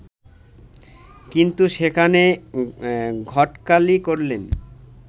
কিন্তু সেখানে ঘটকালি করলেন